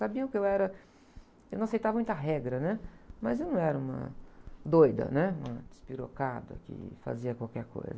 Sabiam que eu era, que não aceitava muita regra, né? Mas eu não era uma doida, né? Uma despirocada que fazia qualquer coisa.